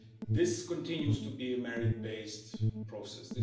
This continues to be a merit based process.